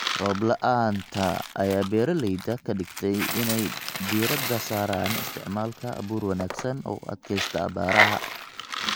Roob la�aanta ayaa beeralayda ka dhigtay in ay diiradda saaraan isticmaalka abuur wanaagsan oo u adkaysta abaaraha.